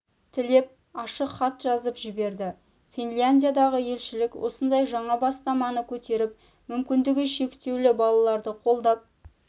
тілеп ашық хат жазып жіберді финляндиядағы елшілік осындай жаңа бастаманы көтеріп мүмкіндігі шектеулі балаларды қолдап